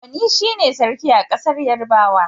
Oni shi ne Sarki a ƙasar Yarabawa.